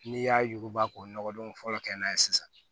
N'i y'a yuguba k'o nɔgɔ don fɔlɔ kɛ n'a ye sisan